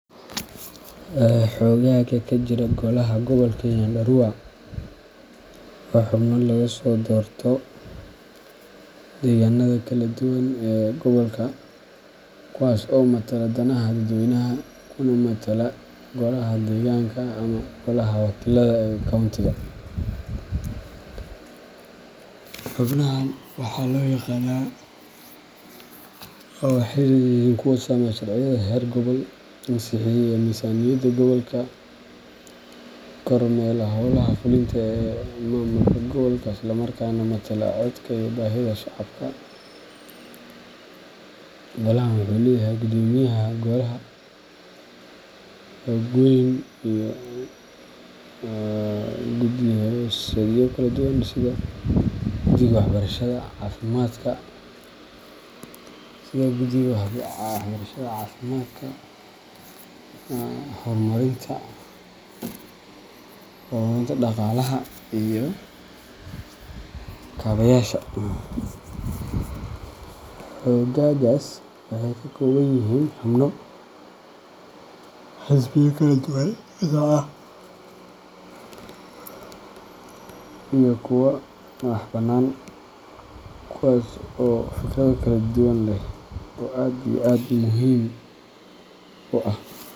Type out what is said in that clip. Xoogagga ka jira golaha gobolka Nyandarua waa xubno laga soo doorto deegaannada kala duwan ee gobolka kuwaas oo matala danaha dadweynaha kuna metela golaha deegaanka ama golaha wakiilada ee county-ga. Xubnahan waxaa loo yaqaanaa, waxayna yihiin kuwa sameeya sharciyada heer gobol, ansixiya miisaaniyadda gobolka, kormeera hawlaha fulinta ee maamulka gobolka, isla markaana matala codka iyo baahida shacabka. Golahan wuxuu leeyahay guddoomiyaha golaha, xoghayn, iyo guddi-hoosaadyo kala duwan sida guddiga waxbarashada, caafimaadka, horumarinta dhaqaalaha, iyo kaabayaasha. Xoogaggaas waxay ka kooban yihiin xubno xisbiya kala duwan ka socda, iyo kuwa madaxbannaan, kuwaas oo fikrado kala duwan leh oo aad iyo aad muhim u ah.